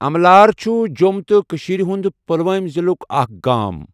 اَملار چھُ جۆم تہٕ کٔشیٖر ہُنٛد پلوۄامہِ ضِلُک اَکھ گام.